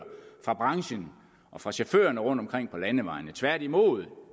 fra branchen og fra chaufførerne rundtomkring på landevejene tværtimod